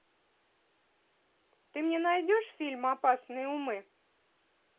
ты мне найдешь фильм опасные умы